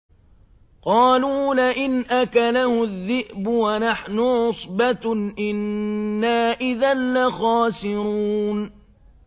قَالُوا لَئِنْ أَكَلَهُ الذِّئْبُ وَنَحْنُ عُصْبَةٌ إِنَّا إِذًا لَّخَاسِرُونَ